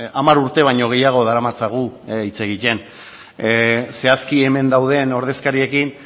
hamar urte baino gehiago daramatzagu hitz egiten zehazki hemen dauden ordezkariekin